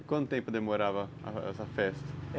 E quanto tempo demorava essa festa?